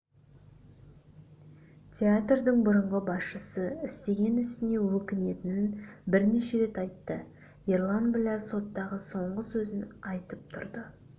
театрдың бұрынғы басшысы істеген ісіне өкінетінін бірнеше рет айтты ерлан біләл соттағы соңғы сөзін айтып тұрып